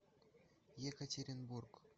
екатеринбург